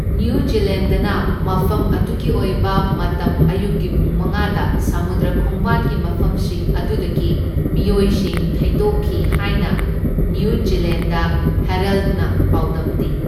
New ꯖꯤꯂꯦꯟꯗꯅ ꯃꯐꯝ ꯑꯗꯨꯒꯤ ꯑꯣꯏꯕ ꯃꯇꯝ ꯑꯌꯨꯛꯀꯤ ꯄꯨꯡ ꯃꯉꯥꯗ ꯁꯃꯨꯗ꯭ꯔ ꯈꯣꯡꯕꯥꯟꯒꯤ ꯃꯐꯝꯁꯤꯡ ꯑꯗꯨꯗꯒꯤ ꯃꯤꯑꯣꯏꯁꯤꯡ ꯊꯩꯗꯣꯛꯈꯤ ꯍꯥꯏꯅ ꯅ꯭ꯌꯨ ꯖꯤꯂꯦꯟꯗ ꯍꯦꯔꯜꯗꯅ ꯄꯥꯎꯗꯝꯃꯤ꯫